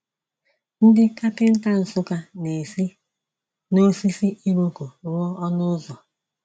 Ndị kapịnta Nsukka na-esi n’osisi iroko rụọ ọnụ ụzọ.